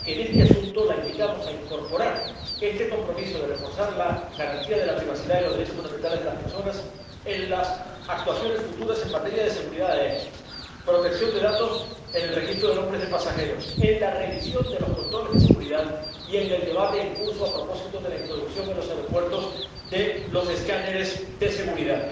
De manera que, en este asunto, la invitamos a incorporar este compromiso de reforzar la garantía de la privacidad y los derechos fundamentales de las personas en las actuaciones futuras en materia de seguridad aérea, protección de datos en el Registro de Nombres de Pasajeros, en la revisión de los controles de seguridad y en el debate en curso a propósito de la introducción en los aeropuertos de los escáneres de seguridad.